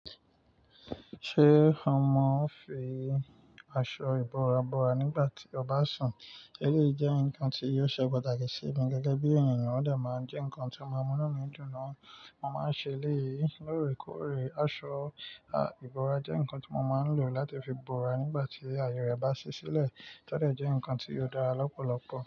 Ṣé mọ fi aṣọ ìbora bora nígbà tí ọ ba sùn? Élèyií jẹ́ ǹnkan tí ò ṣe pàtàkì sí mi gẹ́gẹ́ bí ènìyàn. Ṣé ọ maa fi aṣọ ìbora bo ara nígbà tí ọba sùn? Mo máa ń ṣe elèyìí lóòrèkóòrè. Aṣọ ìbora jẹ́ ǹkan tí mo máa ń lò láti fi bora nígbà tí ààyè rẹ bá ṣí sílẹ̀. Ó de jẹ́ ǹkan tí ó dára lọ́pọ̀lọpọ̀.